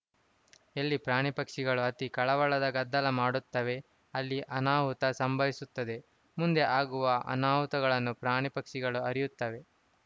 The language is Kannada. ಎಲ್ಲಿ ಪ್ರಾಣಿಪಕ್ಷಿಗಳು ಅತೀ ಕಳವಳದ ಗದ್ದಲ ಮಾಡುತ್ತವೆ ಅಲ್ಲಿ ಅನಾಹುತ ಸಂಭವಿಸುತ್ತದೆ ಮುಂದೆ ಆಗುವ ಅನಾಹುತಗಳನ್ನು ಪ್ರಾಣಿಪಕ್ಷಿಗಳು ಅರಿಯುತ್ತವೆ